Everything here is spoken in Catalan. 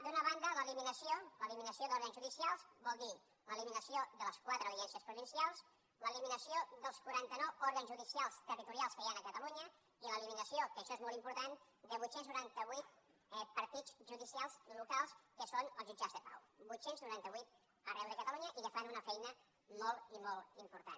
d’una banda l’eliminació d’òrgans judicials vol dir l’eliminació de les quatre audiències provincials l’eliminació dels quaranta nou òrgans judicials territorials que hi han a catalunya i l’eliminació que això és molt important de vuit cents i noranta vuit partits judicials locals que són els jutjats de pau vuit cents i noranta vuit arreu de catalunya i que fan una feina molt i molt important